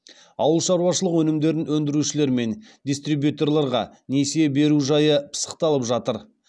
ауылшаруашылық өнімдерін өндірушілер мен дистрибьюторларға несие беру жайы пысықталып жатыр